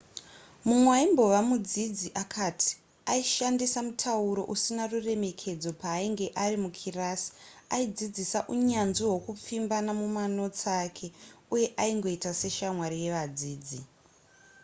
mumwe aimbove mudzidzi akati aishandisa mutauro usina ruremekedzo paainge ari mukirasi aidzidzisa unyanzvi hwekupfimbana mumanotsi ake uye aingoita seshamwari yevadzidzi